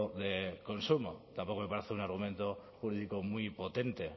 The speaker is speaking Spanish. de consumo tampoco me parece un argumento jurídico muy potente el